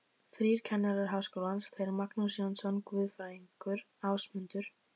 Þrír kennarar Háskólans, þeir Magnús Jónsson guðfræðingur, Ásmundur